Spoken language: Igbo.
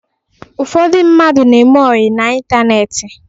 Ụfọdụ mmadụ na-eme ọyị n'ịntaneetị